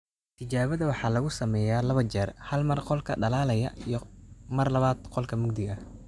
Tijaabada waxaa lagu sameeyaa laba jeer hal mar qolka dhalaalaya iyo mar labaad qol mugdi ah.